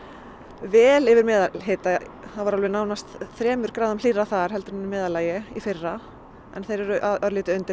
vel yfir meðalhita það var nánast þremur gráðum hlýrra þar heldur en í meðallagi í fyrra en þeir eru örlítið undir